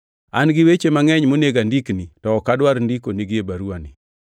An gi weche mangʼeny monego andikni, to ok adwar ndikonigi e baruwani.